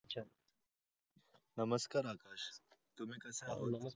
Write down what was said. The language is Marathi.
नमस्कार आकाश तुम्ही कसे आहात